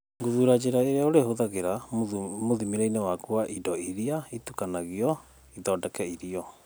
Gũthura njĩra ĩrĩa ũrĩhũthagĩra mũthimĩre-inĩ waku wa indo iria itukanagio ithondeke irio.